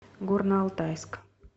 горно алтайск